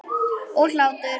Og hlátur.